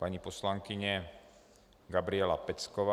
Paní poslankyně Gabriela Pecková.